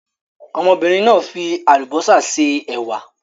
Ọmọbìnrin náà fi àlùbọ́sà se ẹ̀wà.